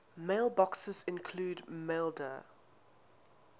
mailboxes include maildir